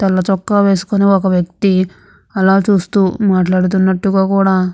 తెల్లచొక్కా వేసుకొని ఒక వ్యక్తి ఆలా చూస్తూ మాట్లాడుతున్నట్టుగా కూడా --